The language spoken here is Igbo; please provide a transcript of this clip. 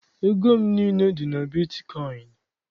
Ego m niile dị na bitkọịn